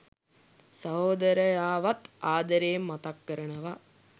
සහෝදරයාවත් ආදරයෙන් මතක් කරනවා.